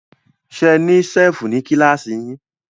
Ṣe ní ṣẹ́fù ní kílàsì yín?